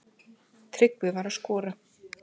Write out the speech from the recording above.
Tryggvi var að skora.